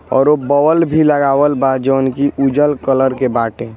और वो बोल भी लगावल बा जोनकी उजल कलर के बाटे।